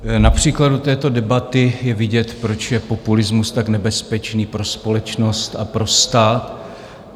Na příkladu této debaty je vidět, proč je populismus tak nebezpečný pro společnost a pro stát.